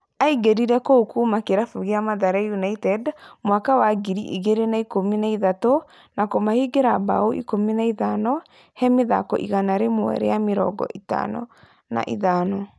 Aingĩrire kũu kuma kĩrabu gĩa Mathare United mwaka wa ngiri igĩrĩ na ikũmi na ithatu na kũmahingĩra bao ikũmi na ithano he mĩthako igana rĩmwe rĩa mĩrongo ĩtano na ithano